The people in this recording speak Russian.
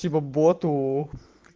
типа боту